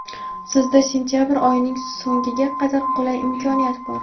sizda sentyabr oyining so‘ngiga qadar qulay imkoniyat bor!.